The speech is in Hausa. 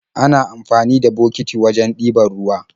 Ana amfani da bokiti wajen ɗiban ruwa